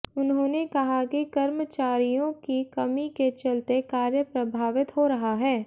उन्होंने कहा कि कर्मचारियों की कमी के चलते कार्य प्रभावित हो रहा है